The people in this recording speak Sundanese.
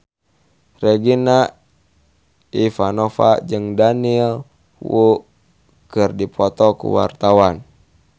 Regina Ivanova jeung Daniel Wu keur dipoto ku wartawan